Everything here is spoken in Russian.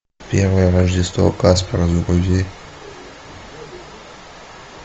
первое рождество каспера загрузи